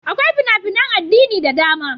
Akwai fina-finan addini da dama.